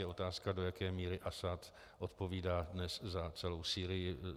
Je otázka, do jaké míry Asad odpovídá dnes za celou Sýrii.